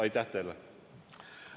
Aitäh teile!